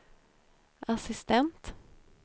assistent